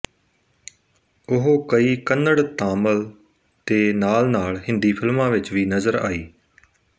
ਉਹ ਕਈ ਕੰਨੜ ਤਾਮਿਲ ਦੇ ਨਾਲਨਾਲ ਹਿੰਦੀ ਫਿਲਮਾਂ ਵਿੱਚ ਵੀ ਨਜ਼ਰ ਆਈ